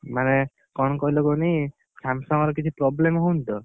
ମାନେ, କଣ କହିଲ କୁହନି, Samsung ର କିଛି problem ହଉନି ତ?